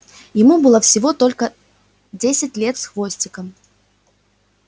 ему было всего только десять лет с хвостиком